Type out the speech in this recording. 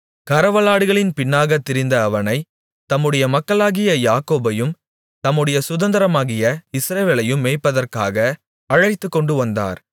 கறவலாடுகளின் பின்னாகத் திரிந்த அவனை தம்முடைய மக்களாகிய யாக்கோபையும் தம்முடைய சுதந்தரமாகிய இஸ்ரவேலையும் மேய்ப்பதற்காக அழைத்துக்கொண்டுவந்தார்